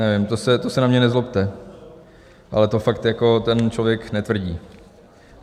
Nevím, to se na mě nezlobte, ale to fakt ten člověk netvrdí.